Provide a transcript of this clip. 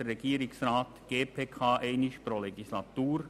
Dabei informiert der Regierungsrat die GPK einmal pro Legislatur.